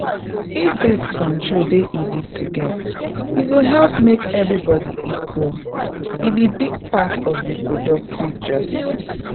if birth control dey easy to get e go help make everybody equal — e be big part of reproductive justice.